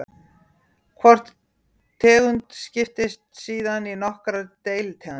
Hvor tegund skiptist síðan í nokkrar deilitegundir.